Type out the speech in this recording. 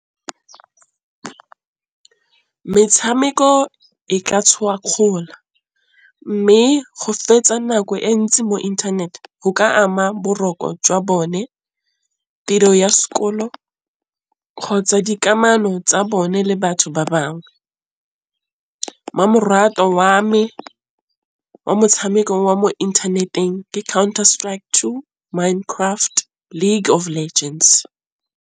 Metšhameko e ka tshoga kgaola, mme go fetsa nako e ntsi mo internet go ka ama boroko jwa bone, tiro ya sekolo kgotsa dikamano tsa bone le batho ba bangwe. Mmamoratwa wa me wa motšhameko wa mo inthaneteng ke Counter Strike Two, Mind Craft, League of Legends.